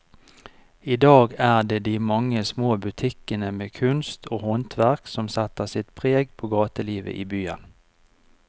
I dag er det de mange små butikkene med kunst og håndverk som setter sitt preg på gatelivet i byen.